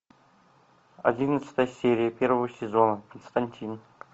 одиннадцатая серия первого сезона константин